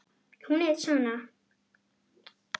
Hún er svona: